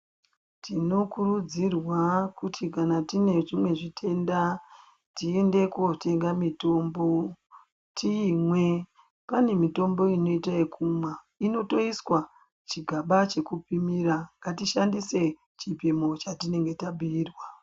Tinokurudzirwa kuti kana tine zvimwe zvitenda tienda kotenga mitombo tiimwe pane mitombo inoite ekumwa inotoiswa chigaba chekupimira ngatishandise chipimo chatinenge tabhiirwa.